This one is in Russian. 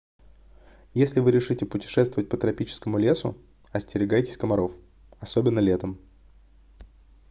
если вы решите путешествовать по тропическому лесу остерегайтесь комаров особенно летом